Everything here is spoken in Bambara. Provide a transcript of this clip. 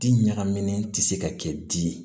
Di ɲagaminen tɛ se ka kɛ di ye